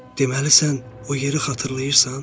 Deməli sən o yeri xatırlayırsan?